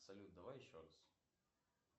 салют давай еще раз